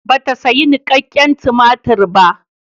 Bata sayi nikakken tumatir ba.